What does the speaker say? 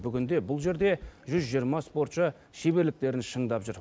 бүгінде бұл жерде жүз жиырма спортшы шеберліктерін шыңдап жүр